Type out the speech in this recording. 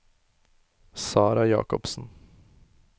Sarah Jakobsen